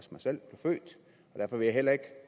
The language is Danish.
derfor vil jeg heller ikke